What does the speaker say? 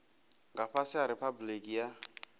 nga fhasi ha riphabuliki ya